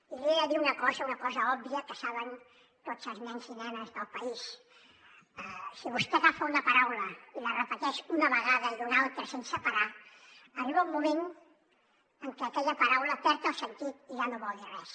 i li he de dir una cosa una cosa òbvia que saben tots els nens i nenes del país si vostè agafa una paraula i la repeteix una vegada i una altra sense parar arriba un moment en què aquella paraula perd el sentit i ja no vol dir res